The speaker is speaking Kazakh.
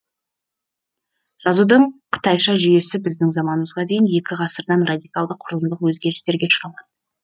жазудың қытайша жүйесі біздің заманымызға дейін екі ғасырдан радикалды құрылымдық өзгерістерге ұшырамады